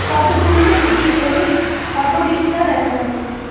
পটভূমিতে দুটি হলুদ অটো রিকশা দেখা যাচ্ছে।